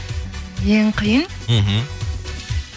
ең қиын мхм